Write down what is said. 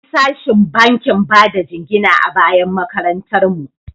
Akwai sashin bankin bada jingina a bayan makarantar mu.